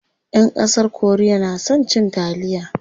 Ƴan ƙasar korea na son cin taliya.